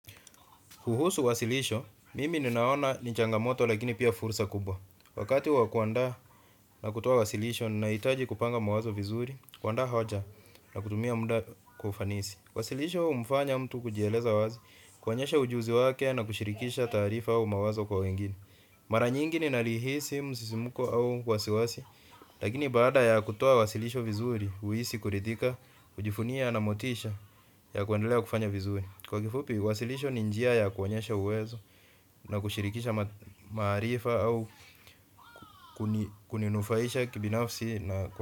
Kuhusu wasilisho, mimi ninaona ni changamoto lakini pia fursa kubwa. Wakati wa kuandaa na kutoa wasilisho, nahitaji kupanga mawazo vizuri, kuandaa hoja na kutumia muda kwa ufanisi. Wasilisho, humfanya mtu kujieleza wazi, kuonyesha ujuzi wake na kushirikisha taarifa au mawazo kwa wengine. Mara nyingi ninalihisi, msisimko au wasiwasi, lakini baada ya kutoa wasilisho vizuri, huhisi kurithika, kujivunia na motisha ya kuendelea kufanya vizuri. Kwa kifupi, wasilisho ni njia ya kuonyesha uwezo na kushirikisha maarifa au kuninufaisha kibinafsi.